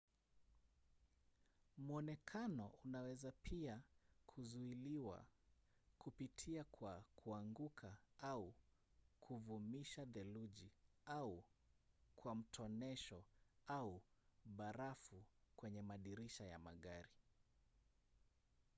mwonekano unaweza pia kuzuiliwa kupitia kwa kuanguka au kuvumisha theluji au kwa mtonesho au barafu kwenye madirisha ya magari